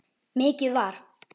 Mikið var!